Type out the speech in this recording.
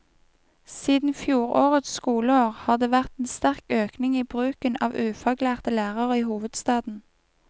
Siden fjorårets skoleår har det vært en sterk økning i bruken av ufaglærte lærere i hovedstaden.